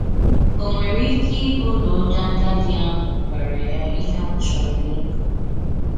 Ò nwere ike íbụ na onye àgádì ahụ gwàrà ya íhè ọ chòrọ̀ ínụ?